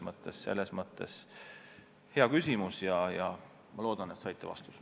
Aga see oli hea küsimus ja ma loodan, et te saite vastuse.